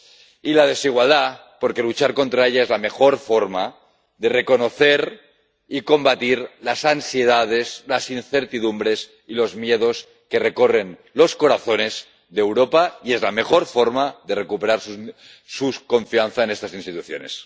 y la desigualdad, porque luchar contra ella es la mejor forma de reconocer y combatir las ansiedades, las incertidumbres y los miedos que recorren los corazones de Europa, y es la mejor forma de recuperar su confianza en estas instituciones.